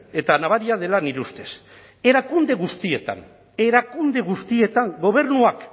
eta nabaria dela nire ustez erakunde guztietan erakunde guztietan gobernuak